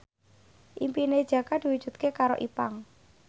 impine Jaka diwujudke karo Ipank